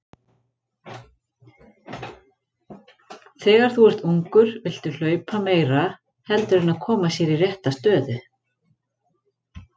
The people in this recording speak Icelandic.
Þegar þú ert ungur viltu hlaupa meira heldur en að koma sér í rétta stöðu.